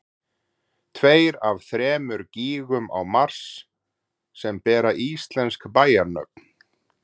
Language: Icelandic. tveir af þremur gígum á mars sem bera íslensk bæjarnöfn